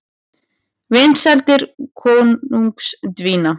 Vinsældir kóngsins dvína